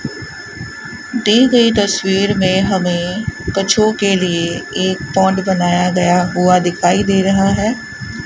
दी गई तस्वीर में हमे कछुओं के लिए एक पाॅन्ड बनाया गया हुआ दिखाइ दे रहा है।